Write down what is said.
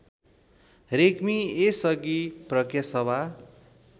रेग्मी यसअघि प्राज्ञसभा